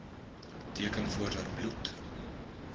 teken voordat bloed